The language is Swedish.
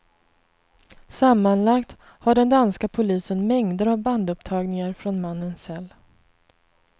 Sammanlagt har den danska polisen mängder av bandupptagningar från mannens cell.